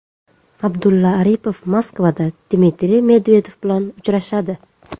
Abdulla Aripov Moskvada Dmitriy Medvedev bilan uchrashadi.